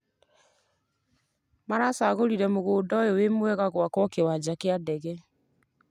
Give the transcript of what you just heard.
Maracagũrire mũgũnda ũyũ wĩ mwega gwakwo kĩwanja kĩa ndege